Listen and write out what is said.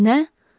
Nə?